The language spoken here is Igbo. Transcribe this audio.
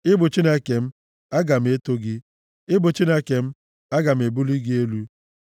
Ị bụ Chineke m, aga m eto gị; ị bụ Chineke m, aga m ebuli gị elu.